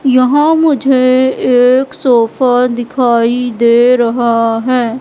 यहां मुझे एक सोफा दिखाई दे रहा है।